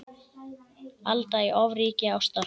Alda í ofríki ástar.